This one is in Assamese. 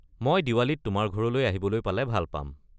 মই দিৱালীত তোমাৰ ঘৰলৈ আহিবলৈ পালে ভাল পাম।